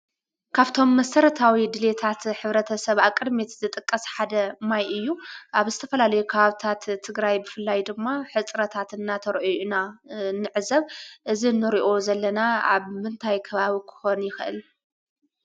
ካፍቶም መሠረታዊ ድልታት ኅብረተ ሰብ ኣቕድሜት ዘጠቀስ ሓደ ማይ እዩ ኣብ ስተፈላለይ ክሃብታት ትግራይ ብፍላይ ድማ ኅጽረታትእናተርኦኡና ንዕዘብ እዝ ኖሪኦ ዘለና ኣብ ምንታይክባዊ ክኾን ይኽእል?